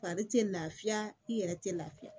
Fari tɛ lafiya i yɛrɛ tɛ lafiya